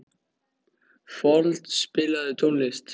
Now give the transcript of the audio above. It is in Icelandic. Fold, spilaðu tónlist.